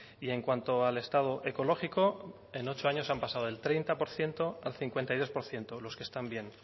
y en cuanto al estado ecológico en ochos años han pasado del treinta por ciento al cincuenta y dos por ciento los que están bien